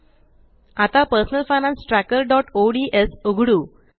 आता personal finance trackerओडीएस उघडू